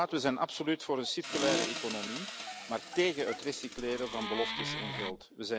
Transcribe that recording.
We zijn absoluut voor een circulaire economie, maar tegen het recycleren van beloftes en geld.